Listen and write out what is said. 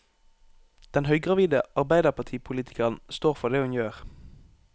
Den høygravide arbeiderpartipolitikeren står for det hun gjør.